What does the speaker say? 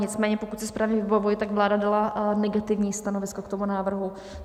Nicméně pokud si správně vybavuji, tak vláda dala negativní stanovisko k tomu návrhu.